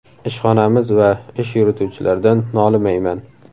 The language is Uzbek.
Ishxonamiz va ish yurituvchilardan nolimayman.